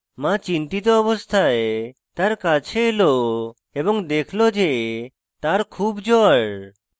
the চিন্তিত অবস্থায় তার কাছে এলো এবং দেখল the তার খুব জ্বর